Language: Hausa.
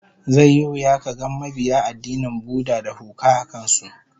Zai yi wuya kaga mabiya addinin Buddha da huka a kan su